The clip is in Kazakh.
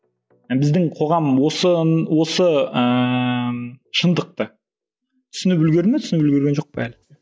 і біздің қоғам осы ыыы шындықты түсініп үлгерді ме түсініп үлгерген жоқ па әлі